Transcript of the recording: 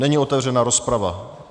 Není otevřena rozprava.